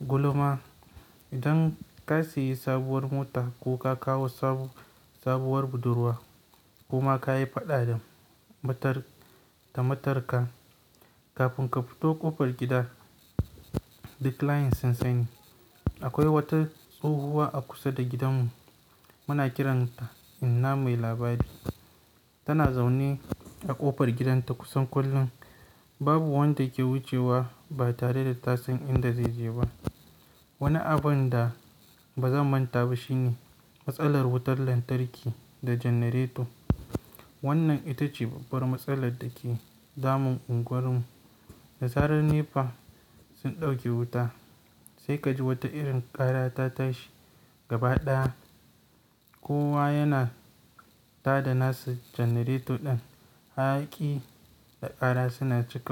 gulma. Idan ka sayi sabuwar mota ko ka kawo sabuwar budurwa koma kayi faɗa da matarka kafin ka fito ƙofar gida, duk layin sun sani. Akwai wata tsohuwa a kusa da gidanmu. Muna kiranta inna mai labari. Tana zaune a ƙofar gidanta kusan kullum. Babu wanda ke wucewa ba tare da ta san inda zaije ba. Wani abunda bazan manta ba shine matsalar wutar lantarki da janareto. Wannan ita ce babbar matsalar da ke damun unguwar mu. Da zarar NEPA sun ɗauke wuta sai kaji wata irin ƙara ta tashi gaba ɗaya. Kowa yana tada nasa janareto ɗin, hayaki da ƙara suna cika.